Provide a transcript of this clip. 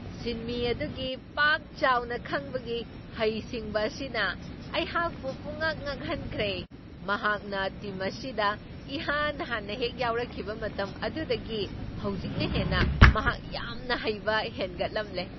ꯁꯤꯟꯃꯤ ꯑꯗꯨꯒꯤ ꯄꯥꯛ ꯆꯥꯎꯅ ꯈꯪꯕꯒꯤ ꯍꯩꯁꯤꯡꯕ ꯑꯁꯤꯅ ꯑꯩꯍꯥꯛꯄꯨ ꯄꯨꯝꯉꯛ ꯉꯛꯍꯟꯈ꯭ꯔꯦ, ꯃꯍꯥꯛꯅ ꯇꯤꯝ ꯑꯁꯤꯗ ꯏꯍꯥꯟ ꯍꯥꯟꯅ ꯍꯦꯛ ꯌꯥꯎꯔꯛꯈꯤꯕ ꯃꯇꯝ ꯑꯗꯨꯗꯒꯤ ꯍꯧꯖꯤꯛꯅ ꯍꯦꯟꯅ ꯃꯍꯥꯛ ꯌꯥꯝꯅ ꯍꯩꯕ ꯍꯦꯟꯒꯠꯂꯝꯂꯦ ꯫